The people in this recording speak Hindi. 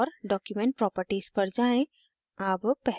file पर click करें और document properties पर जाएँ